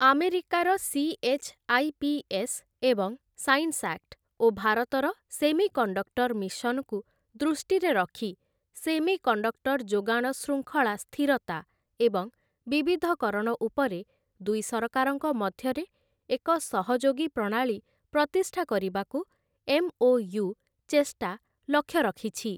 ଆମେରିକାର ସି.ଏଚ୍‌.ଆଇ.ପି.ଏସ୍‌. ଏବଂ science act ଓ ଭାରତର ସେମିକଣ୍ଡକ୍ଟର ମିଶନକୁ ଦୃଷ୍ଟିରେ ରଖି ସେମିକଣ୍ଡକ୍ଟର ଯୋଗାଣ ଶୃଙ୍ଖଳା ସ୍ଥିରତା ଏବଂ ବିବିଧକରଣ ଉପରେ ଦୁଇ ସରକାରଙ୍କ ମଧ୍ୟରେ ଏକ ସହଯୋଗୀ ପ୍ରଣାଳୀ ପ୍ରତିଷ୍ଠା କରିବାକୁ ଏମ୍‌.ଓ.ୟୁ. ଚେଷ୍ଟା ଲକ୍ଷ୍ୟ ରଖିଛି ।